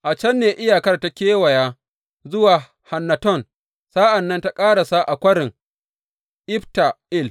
A can ne iyakar ta kewaya zuwa Hannaton, sa’an nan ta ƙarasa a Kwarin Ifta El.